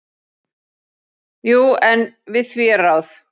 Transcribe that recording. Jú, en við því er ráð.